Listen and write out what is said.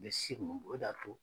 Bɛ Segu o d'a to